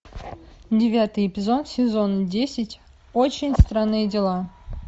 девятый эпизод сезон десять очень странные дела